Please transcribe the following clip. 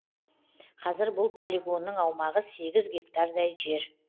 қазір бұл полигонның аумағы сегіз гектардай жер